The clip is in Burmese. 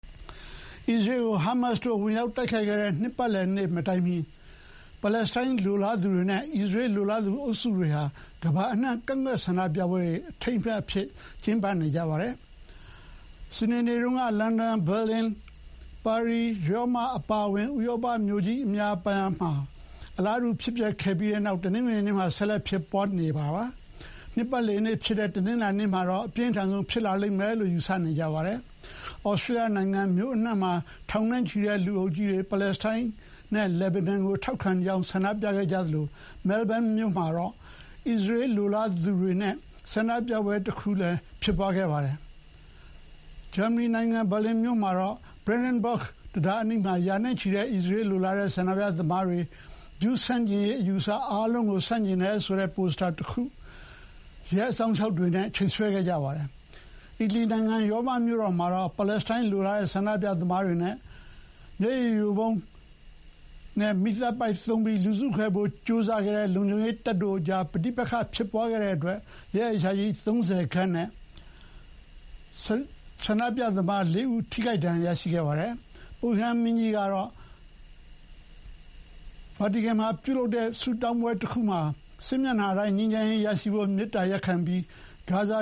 အစ္စရေးကို ဟာမတ်စ်တို့ ဝင်ရောက်တိုက်ခိုက်ခဲ့တဲ့နှစ်ပတ်လည်နေ့မတိုင်ခင် ပါလက်စတိုင်းလိုလားသူတွေနဲ့ အစ္စရေးလိုလားသူအုပ်စုတွေဟာ ကမ္ဘာအနှံ့ ကန့်ကွက်ပွဲတွေနဲ့ အထိမ်းအမှတ်အခမ်းအနားတွေကျင်းပခဲ့ကြပါတယ်။ စနေနေ့တုန်းက လန်ဒန်၊ ဘာလင်၊ ပါရီ၊ ရောမအပါအဝင် ဥရောပမြို့ကြီးအများအပြားမှာ အလားတူ ဖြစ်ပျက်ခဲ့ပြီးနောက်တနင်္ဂနွေနေ့မှာလည်း ဆက်လက်ဖြစ်ပွါးခဲ့ပြီး နှစ်ပတ်လည်နေ့ဖြစ်တဲ့ တနင်္လာနေ့မှာတော့ အပြင်းထန်ဆုံးဖြစ်လာလိမ့်မယ်လို့ ယူဆနေကြပါတယ်။ သြစတြေးလျနိုင်ငံမြို့အနှံ့အပြားမှာ ထောင်နဲ့ချီတဲ့လူအုပ်ကြီးတွေ ပါလက်စတိုင်းနဲ့ လက်ဘနွန်ကို ထောက်ခံကြောင်း ဆန္ဒပြခဲ့ကြသလို Melbourne မြို့မှာတော့ အစ္စရေးလိုလားသူတွေရဲ့ ဆန္ဒပြပွဲ တခုလည်း ဖြစ်ပွါးခဲ့ပါတယ်။ ဂျာမနီနိုင်ငံ ဘာလင်မြို့မှာတော့ Brandenburg တံခါးအနီး ရာနဲ့ချီတဲ့ အစ္စရေးလိုလားတဲ့ဆန္ဒပြသမားတွေက ဂျူးဆန့်ကျင်ရေးအယူအဆအားလုံးကို ဆန့်ကျင်တယ်ဆိုတဲ့ ပိုစတာတခုကို ရဲအစောင့်အရှောက်တွေနဲ့ချိတ်ဆွဲခဲ့ကြပါတယ်။ အီတလီနိုင်ငံ ရောမမြို့တော်မှာတော့ ပါလက်စတိုင်းလိုလားတဲ့ဆန္ဒပြသမားတွေနဲ့ မျက်ရည်ယိုဗုံးနဲ့ မီးသတ်ပိုက်သုံးပြီးလူစုခွဲဖို့ကြိုးစားတဲ့ လုံခြုံရေးတပ်တို့ကြား ပဋိပက္ခဖြစ်ပွါးခဲ့တဲ့အတွက် ရဲအရာရှိ ၃၀ နဲ့ ဆန္ဒပြသမား ၄ ဦး ထိခိုက်ဒဏ်ရာရခဲ့ကြပါတယ်။ ပုပ်ရဟန်းမင်းကြီး ဖရန့်စစ်ကတော့ ဗာတီကန်မှာပြုလုပ်တဲ့ ဝတ်ပြုဆုတောင်းပွဲတခုမှာ စစ်မျက်နှာတိုင်းမှာ ငြိမ်းချမ်းရေးရရှိဖို့ မေတ္တာရပ်ခံပြီး ဂါဇာ